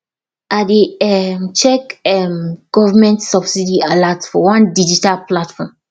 i dey um check um government subsidy alert for one digital platform